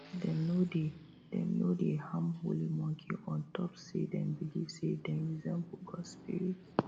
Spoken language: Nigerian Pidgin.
dem no dey dem no dey harm holy monkey ontop say dem believe say dem resemble gods spirit